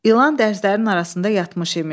İlan dərzlərin arasında yatmış imiş.